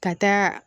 Ka taa